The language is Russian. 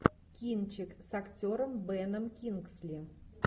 кинчик с актером беном кингсли